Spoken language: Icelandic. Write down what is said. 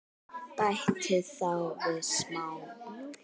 Bætið þá við smá mjólk.